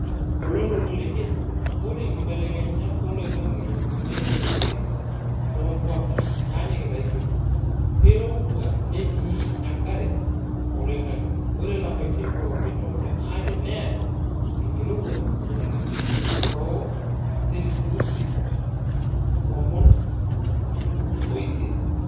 Oloontoluo le Kenya:Ore nkibelekenyat oloing'ang'e nenyanyukie nonkwapi nanyikita equetor. Keirowua netii enkare oloinang'ang'e. Ore lapaitin pooki tomon aree neata enkirowuaj nalus too selisiusi tomon oisiet.